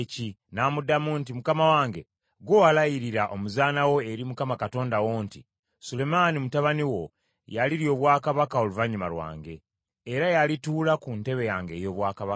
N’amuddamu nti, “Mukama wange, ggwe walayirira omuzaana wo eri Mukama Katonda wo nti, ‘Sulemaani mutabani wo y’alirya obwakabaka oluvannyuma lwange, era y’alituula ku ntebe yange ey’obwakabaka.’